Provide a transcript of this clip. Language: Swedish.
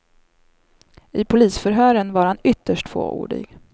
I polisförhören var han ytterst fåordig.